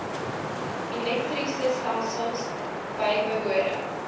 elektriese stelsels bybehore